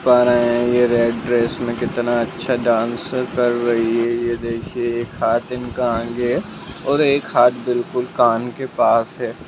यह red dress मे कितना अच्छा डांस रही है यह देखिए एक हाथ इनका आगे है और एक हाथ बिल्कुल कान के पास है।